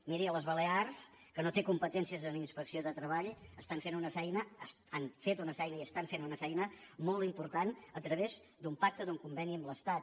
miri a les balears que no tenen competències en inspecció de treball estan fent una feina han fet una feina i estan fent una feina molt important a través d’un pacte d’un conveni amb l’estat